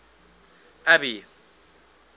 abby